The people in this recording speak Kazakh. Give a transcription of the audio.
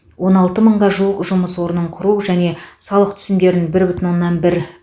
он алты мыңға жуық жұмыс орнын құру және салық түсімдерін бір бүтін оннан бір